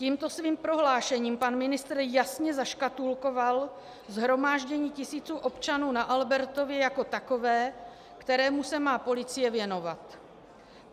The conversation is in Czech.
Tímto svým prohlášením pan ministr jasně zaškatulkoval shromáždění tisíců občanů na Albertově jako takové, kterému se má policie věnovat.